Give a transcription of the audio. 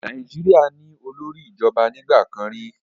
Nàìjíríà ní olórí ìjọba nígbà kan rí.